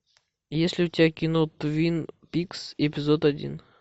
есть ли у тебя кино твин пикс эпизод один